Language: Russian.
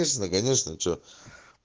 конечно конечно че